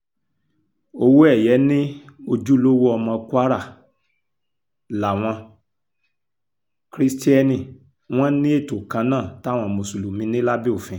owóẹ̀yẹ ni ojúlówó ọmọ kwara làwọn krisiteni wọn ní ètò kan náà táwọn mùsùlùmí ní lábẹ́ òfin